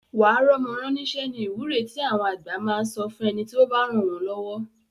Wà á rọ́mọ rán níṣẹ́ ni ìwúre tí àwọn àgbà máa sọ fún ẹni tí ó bá ràn wọ́n lọ́wọ́